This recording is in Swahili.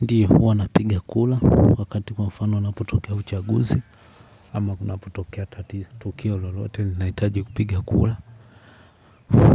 Ndiyi huwa napiga kura wakati kwa mfano unapotokea uchaguzi ama kunaputokea tatizo tukio lolotei linahitaji kupiga kura.